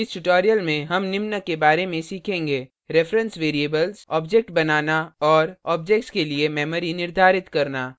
इस tutorial में हम निम्न के बारे में सीखेंगे